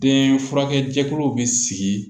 Den furakɛ jɛkuluw bɛ sigi